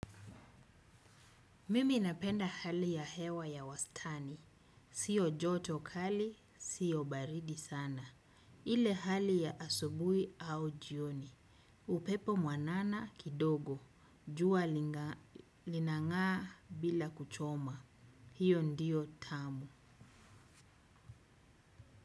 Mimi napenda hali ya hewa ya wastani. Sio joto kali, sio baridi sana. Ile hali ya asubuhi au jioni. Upepo mwanana kidogo. Jua linang'aa bila kuchoma. Hio ndio tamu.